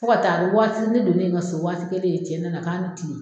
Fo ka taa a be waati ne donnen ŋa so waati kelen cɛ nana k'a' ni tile.